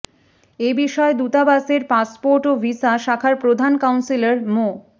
এ বিষয়ে দূতাবাসের পাসপোর্ট ও ভিসা শাখার প্রধান কাউন্সিলর মো